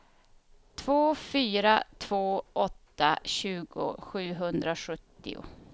två fyra två åtta tjugo sjuhundrasjuttio